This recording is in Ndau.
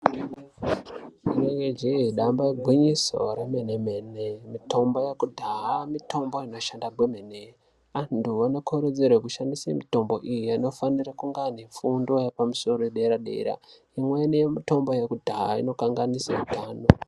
Rinenge jee damba igwinyiso remene-mene, mitombo yekudhaya, mitombo inoshanda gwemene, antu anokurudzirwa kushandise mitombo iyi anofanira kunge anefundo yepamusoro yederadera. Imweni yemitombo yekudhaya inokanganise utano.